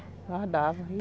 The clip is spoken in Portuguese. guardava.